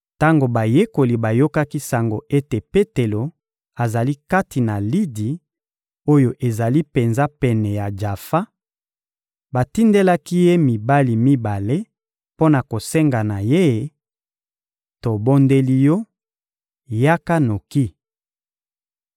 Tango bayekoli bayokaki sango ete Petelo azali kati na Lidi oyo ezali penza pene ya Jafa, batindelaki ye mibali mibale mpo na kosenga na ye: «Tobondeli yo, yaka noki!»